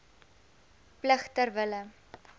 plig ter wille